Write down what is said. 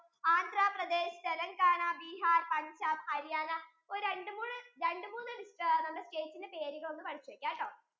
AndraPradesh, Telengana, Bihar, Punjab, Haryana ഒരു രണ്ടു മൂന്ന് ~ രണ്ടു മൂന്ന് states ഉകളുടെ പേറുകൾ പേടിച്ചു വെക്കാട്ടോ